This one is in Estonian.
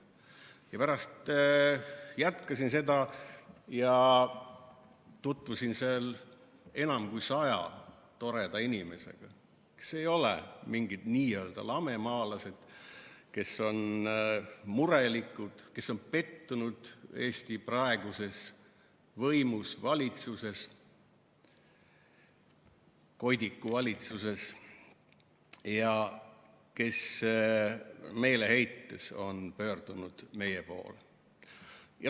Ja pärast jätkasin seda ja tutvusin enam kui saja toreda inimesega, kes ei ole mingid n-ö lamemaalased, vaid kes on murelikud, kes on pettunud Eesti praeguses võimus, valitsuses, koidikuvalitsuses ja kes meeleheites on pöördunud meie poole.